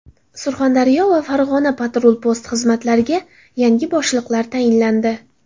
Surxondaryo va Farg‘ona patrul-post xizmatlariga yangi boshliqlar tayinlandi.